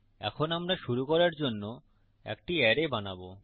এখন আমরা শুরু করার জন্য একটি অ্যারে বানাবো